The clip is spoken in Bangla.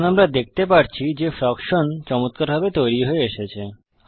এখন আমরা দেখতে পারছি যে ফ্রকশন চমত্কারভাবে তৈরী হয়ে এসেছে